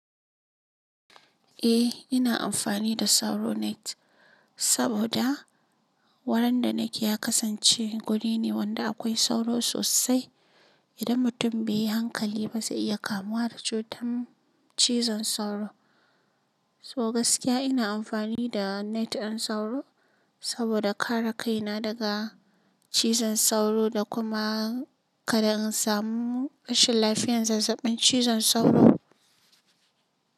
Eh ina amfani da sauro net saboda wurin da nake ya kasance guri ne wanda akwai sauro sosai. Idan mutum bai yi hankali ba zai iya kamuwa da cutar cizon sauro. So gaskiya ina amfani da net ɗin sauro saboda kare kaina daga cizon sauro da kuma kada in samu rashin lafiyan zazzaɓin cizon sauro.